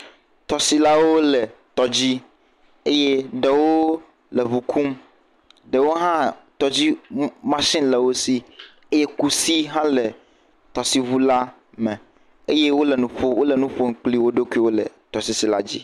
Tɔsilawo le tɔ dzi eye ɖewo le ŋu kum eye ɖewo hã tɔdzi mashini le wo si eye kusi hã le teɔsiŋu la me, eye wole nu kple wo ɖokuiwo le tɔdziŋu la me.